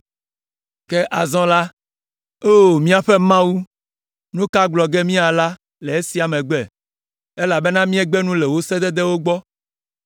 “Ke azɔ la, O míaƒe Mawu, nu ka gblɔ ge míala le esia megbe? Elabena míegbe nu le wò sededewo gbɔ,